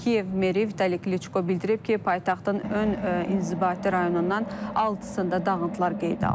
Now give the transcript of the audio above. Kiyev meri Vitali Kliçko bildirib ki, paytaxtın ön inzibati rayonundan altısında dağıntılar qeydə alınıb.